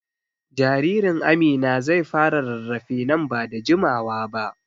Jaririn Amina zai fara rarrafe nan ba da jimawa ba.